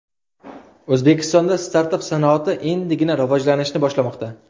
O‘zbekistonda startap sanoati endigina rivojlanishni boshlamoqda.